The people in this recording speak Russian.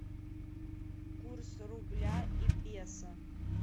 курс рубля и песо